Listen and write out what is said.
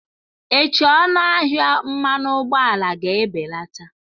Echi ọnụ ahịa mmanụ ụgbọala ga-ebelata.